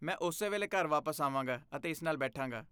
ਮੈਂ ਉਸੇ ਵੇਲੇ ਘਰ ਵਾਪਸ ਆਵਾਂਗਾ ਅਤੇ ਇਸ ਨਾਲ ਬੈਠਾਂਗਾ।